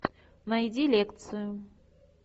найди лекцию